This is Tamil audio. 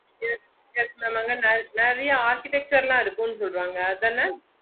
yes yes mam அங்க நிறைய architecture லாம் இருக்கும் சொல்றாங்க அதானா